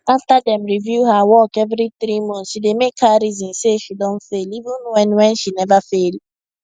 after dem review her work every 3 months e dey make her reason say she don fail even when when she never fail